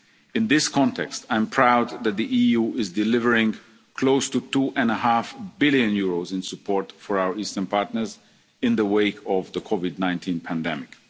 to the people. In this context, I am proud that the EU is delivering close to EUR 2.5 billion in support for our eastern partners in the wake of the COVID